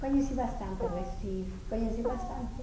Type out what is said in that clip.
Conheci bastante Recife, conheci bastante.